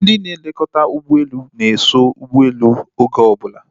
Ndị nlekọta ụgbọelu na-eso ụgbọelu oge obula